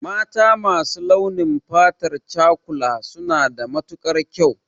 Mata masu launin fatar cakula suna da matukar kyau